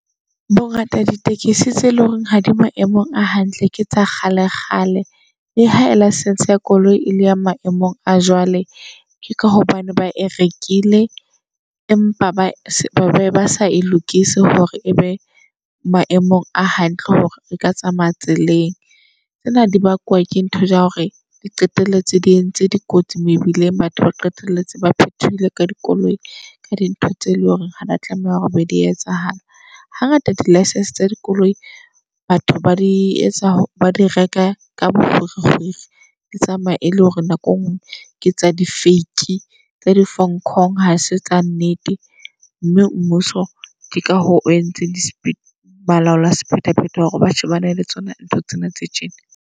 Bongata ditekesi tse leng hore ha di maemong a hantle ke tsa kgale kgale. Le ha license ya koloi e le ya maemong a jwale, ka hobane ba e rekile empa ba ba s be basa e lokise hore ebe maemong a hantle hore re ka tsamaya tseleng. Tsena di bakwa ke ntho tsa hore di qetelletse di entse dikotsi mebileng. Batho ba qetelletse ba phethohile ka dikoloi ka di ntho tse leng hore ha dia tlameha hore be di etsahala. Hangata di-licence tsa dikoloi batho ba di etsa ba di reka ka bo kgwiri kgwiri. Di tsamaya e le hore nako engwe ke tsa di-fake tsa di-fong-kong. Hase tsa nnete mme mmuso di ka ho o entseng balaola sephethephethe. Hore ba shebane le tsona ntho tsena tse tjena.